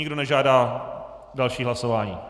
Nikdo nežádá další hlasování.